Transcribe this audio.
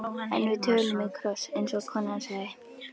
En við tölum í kross, eins og konan sagði.